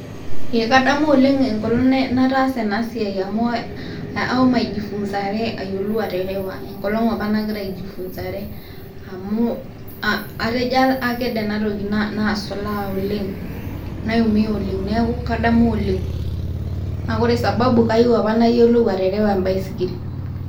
EE kadamu oleng enkolong nataasa ena siai, amu ashomo aijifunzare ayiolou aterewa enkolong apa nshomo aijifunzare. Amu atejo aked enatoki naasulaa oleng, naiumia oleng. Neaku kadamu oleng naa ore sababu naa kayieu apa nayiolou aterewa embaisikil.